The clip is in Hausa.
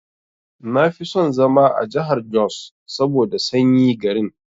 Nafi son zama a jahar jos saboda sanyi garin.